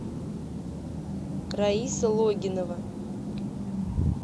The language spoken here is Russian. раиса логинова